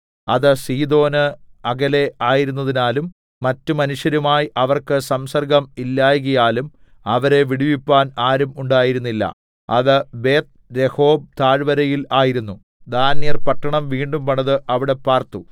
അത് സീദോന് അകലെ ആയിരുന്നതിനാലും മറ്റു മനുഷ്യരുമായി അവർക്ക് സംസർഗ്ഗം ഇല്ലായ്കയാലും അവരെ വിടുവിപ്പാൻ ആരും ഉണ്ടായിരുന്നില്ല അത് ബേത്ത്രെഹോബ് താഴ്വരയിൽ ആയിരുന്നു ദാന്യർ പട്ടണം വീണ്ടും പണിത് അവിടെ പാർത്തു